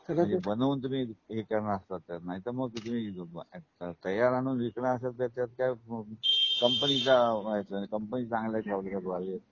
सगळं तुम्ही आणि बनवून तुम्ही हा कारण आफत आहे. नाहीतर तुम्ही तय्यार आणून विकणार असेल तर त्याच्यात काय कंपनीच्या, कंपनी चांगला कॉन्टॅक्ट पाहिजे